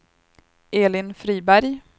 Elin Friberg